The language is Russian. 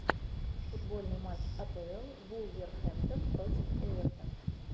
футбольный матч апл вулверхэмптон против эвертон